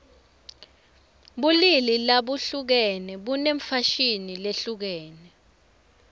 bulili labuhlukene bunemfashini lehlukene